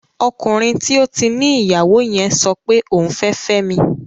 Ọkùnrin tí ó ti ní ìyàwó yẹn sọpe òun fẹ́ fẹ́mi